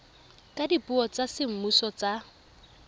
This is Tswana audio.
ka dipuo tsa semmuso tsa